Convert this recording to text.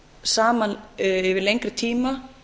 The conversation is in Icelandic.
saman yfir lengri tíma